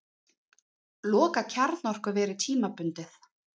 Loka kjarnorkuveri tímabundið